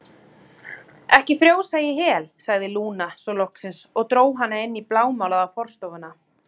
Ekki frjósa í hel, sagði Lúna svo loksins og dró hana inn í blámálaða forstofuna.